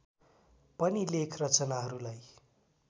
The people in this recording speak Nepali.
पनि लेख रचनाहरूलाई